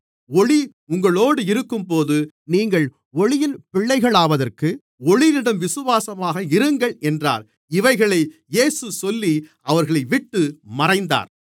ஒளி உங்களோடு இருக்கும்போது நீங்கள் ஒளியின் பிள்ளைகளாவதற்கு ஒளியிடம் விசுவாசமாக இருங்கள் என்றார் இவைகளை இயேசு சொல்லி அவர்களைவிட்டு மறைந்தார்